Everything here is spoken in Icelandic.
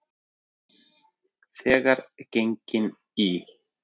Þegar gengin í